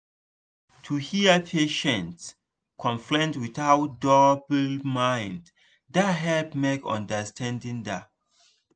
to hear patient complain without double mind da help make understanding da